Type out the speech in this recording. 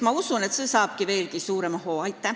Ma usun, et see tegevus saab veelgi suurema hoo sisse.